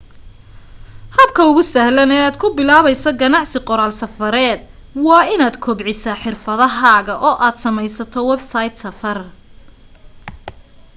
habka ugu sahlan ee aad ku bilaabayso ganacsi qoraal safareed waa inaad kobcisaa xirfadahaaga oo aad samaysato websayd safar